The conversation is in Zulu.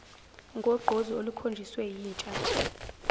ngogqozi olukhonjiswe yintsha